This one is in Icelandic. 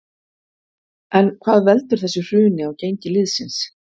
En hvað veldur þessu hruni á gengi liðsins?